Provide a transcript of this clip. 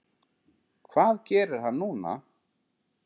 Hvað gerir hann núna?